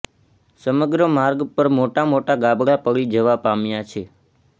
સમગ્ર માર્ગ પર મોટા મોટા ગાબડા પડી જવા પામ્યા છે